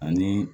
Ani